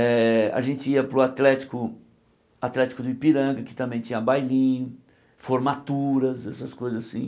Eh a gente ia para o Atlético atlético do Ipiranga, que também tinha bailinho, formaturas, essas coisas assim.